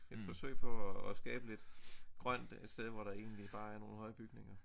Et forsøg på at at skabe lidt grønt et sted hvor der egentlig bare er nogle høje bygninger